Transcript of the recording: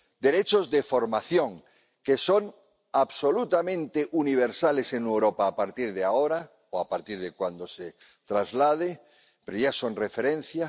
y derechos de formación, que son absolutamente universales en Europa a partir de ahora o a partir de cuando se transponga, pero que ya son referencia.